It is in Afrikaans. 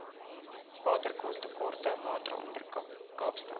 watertekorte waaronder kaapstad